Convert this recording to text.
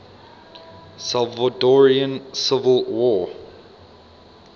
salvadoran civil war